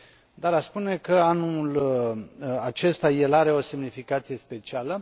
dar aș spune că anul acesta el are o semnificație specială.